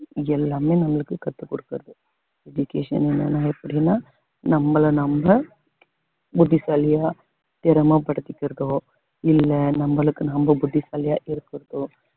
எல்லாமே நம்மளுக்கு கத்துக் கொடுக்குது education என்னன்னா எப்படின்னா நம்மளை நம்ப புத்திசாலியா திறமை படுத்திக்கிறதோ இல்லை நம்மளுக்கு நம்ம புத்திசாலியா இருக்கிறதோ